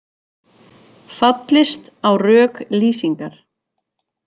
Fallist á rök Lýsingar